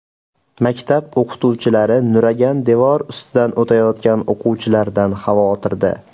Maktab o‘qituvchilari nuragan devor ustidan o‘tayotgan o‘quvchilardan xavotirda.